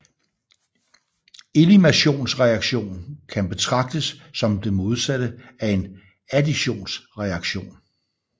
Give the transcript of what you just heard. Eliminationsreaktion kan betragtes som det modsatte af en additionsreaktion